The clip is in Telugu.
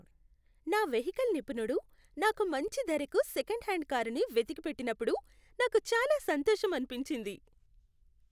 నా వెహికల్ నిపుణుడు నాకు మంచి ధరకు సెకండ్ హ్యాండ్ కారుని వెతికిపెట్టినప్పుడు నాకు చాలా సంతోషం అనిపించింది.